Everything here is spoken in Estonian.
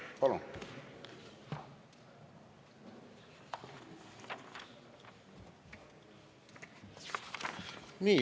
Palun!